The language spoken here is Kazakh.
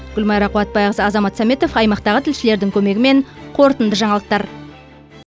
гүлмайра қуатбайқызы азамат сәметов аймақтағы тілшілердің көмегімен қорытынды жаңалықтар